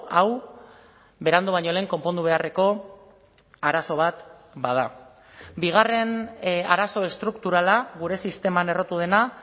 hau berandu baino lehen konpondu beharreko arazo bat bada bigarren arazo estrukturala gure sisteman errotu dena